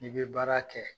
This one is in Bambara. N'i bɛ baara kɛ